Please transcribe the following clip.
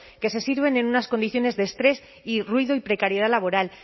que se sirven en unas condiciones de estrés y ruido y precariedad laboral